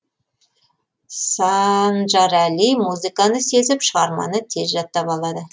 сааанжарәли музыканы сезіп шығарманы тез жаттап алады